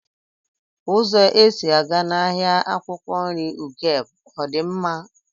Uzo esi aga n'ahia akwukwo nri ugeb odi nma?